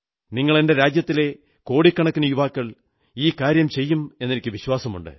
നിങ്ങൾ എന്റെ രാജ്യത്തിലെ കോടിക്കണക്കിന് യുവാക്കൾ ഈ കാര്യം ചെയ്യുമെന്ന് എനിക്ക് വിശ്വാസമുണ്ട്